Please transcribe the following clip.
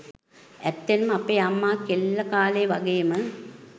ඇත්තෙන්ම අපේ අම්මා කෙල්ල කාලේ වගේම